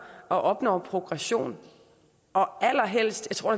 og opnår progression og allerhelst det tror